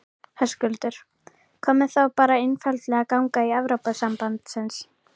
Höskuldur: Hvað með þá bara einfaldlega að ganga í Evrópusambandsins?